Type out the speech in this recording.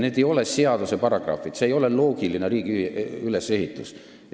Need ei ole seaduse paragrahvid, see ei ole loogiline riigi ülesehitus!